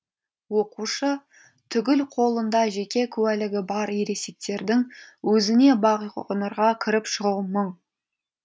оқушы түгіл қолында жеке куәлігі бар ересектердің өзіне бағқоңырға кіріп шығу мұң